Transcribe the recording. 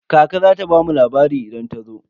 Kaka za ta bamu labari idan ta zo.